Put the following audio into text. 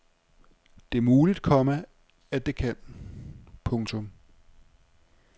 Det er muligt, komma at det kan. punktum